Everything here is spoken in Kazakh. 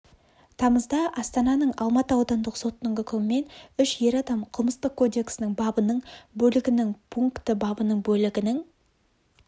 тамызда астананың алматы аудандық сотының үкімімен үш ер адам қылмыстық кодексінің бабының бөлігінің пункті бабының бөлігінің